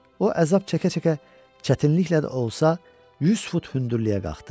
O əzab çəkə-çəkə çətinliklə də olsa 100 fut hündürlüyə qalxdı.